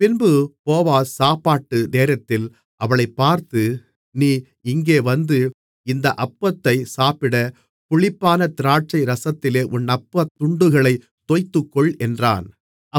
பின்பு போவாஸ் சாப்பாட்டு நேரத்தில் அவளைப் பார்த்து நீ இங்கே வந்து இந்த அப்பத்தைப் சாப்பிட புளிப்பான திராட்சை ரசத்திலே உன் அப்பத் துண்டுகளைத் தோய்த்துக்கொள் என்றான்